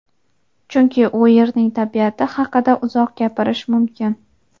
chunki u yerning tabiati haqida uzoq gapirish mumkin.